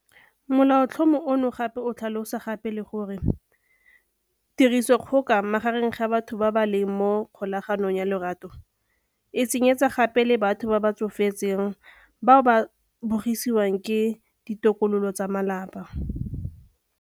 Molaotlhomo ono gape o tlhalosa gape le gore 'tirisodikgoka magareng ga batho ba ba leng mo kgolaganong ya lorato' e tsenyeletsa gape le batho ba ba tsofetseng bao ba bogisiwang ke ditokololo tsa malapa.